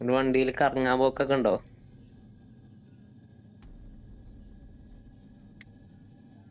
നിങ്ങള് വണ്ടില് കറങ്ങാൻ പോക്കൊക്കെ ഉണ്ടോ